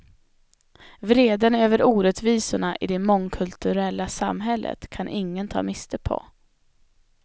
Vreden över orättvisorna i det mångkulturella samhället kan ingen ta miste på.